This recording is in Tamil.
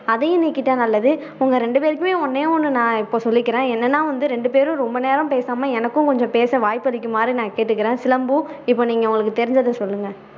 அதியும் நீக்கிட்டா நல்லது உங்க ரெண்டு பேருக்குமே ஒண்ணேஒண்ணு நான் இப்போ சொல்லிக்கிறேன் என்னன்னா வந்து ரெண்டு பேரும் ரொம்ப நேரம் பேசாம எனக்கும் வாய்ப்பளிக்குமாறு நான் கேட்டுக்குறேன் சிலம்பு இப்போ நீங்க உங்களுக்கு தெரிஞ்சதை சொல்லுங்க